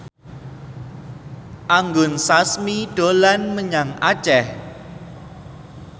Anggun Sasmi dolan menyang Aceh